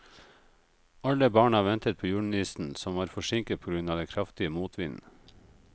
Alle barna ventet på julenissen, som var forsinket på grunn av den kraftige motvinden.